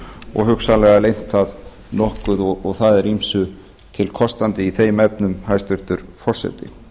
og hugsanlega lengt það nokkuð og það er ýmsu til kostandi í þeim efnum hæstvirtur forseti